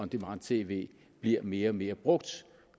demand tv bliver mere og mere brugt